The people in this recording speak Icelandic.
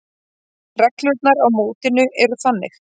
Reglurnar á mótinu eru þannig: